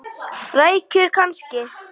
Rækjur kannski?